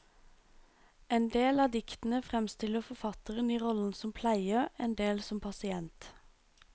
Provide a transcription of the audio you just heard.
Endel av diktene fremstiller forfatteren i rollen som pleier, endel som pasient.